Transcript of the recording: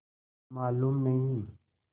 मालूम नहीं